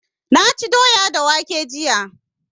Na ci doya da waƙe jiya